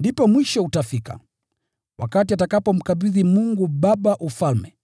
Ndipo mwisho utafika, wakati atakapomkabidhi Mungu Baba ufalme,